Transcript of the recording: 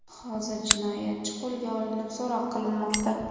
Hozir jinoyatchi qo‘lga olinib, so‘roq qilinmoqda.